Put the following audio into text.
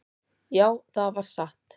"""Já, það var satt."""